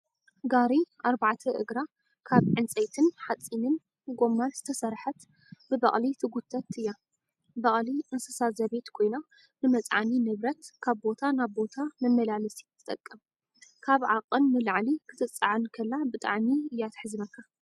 ጋሪ ኣርባዕተ እግራ ካብ ዕንፀይትን ሓፂንን ጎማን ዝተሰረሓት ብበቅሊ ትጉተት እያ። በቅሊ እንስሳ ዘቤት ኮይና፣ ንመፅዓኒ ንብረት ካብ ቦታ ናብ ቦታ መመላለሲት ትጠቅም። ካብ ዓቀን ንላዕሊ ክትፃዓን ከላ ብጣዕሚ እያ ትሕዝነካ።